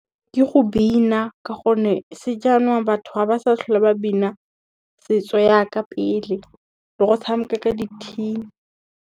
Ke go bina ka gonne sejanong batho ga ba sa tlhola ba bina setso ja ka pele le go tshameka ka di-tin.